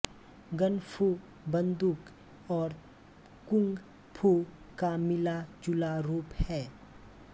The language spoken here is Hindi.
गन फू बन्दूक और कुंग फू का मिला जुला रूप है